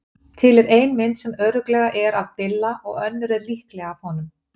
Til er ein mynd sem örugglega er af Billa og önnur er líklega af honum.